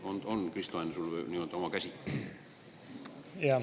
On sul, Kristo Enn, sellest oma käsitlus?